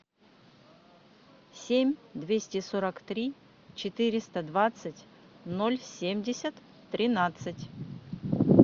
семь двести сорок три четыреста двадцать ноль семьдесят тринадцать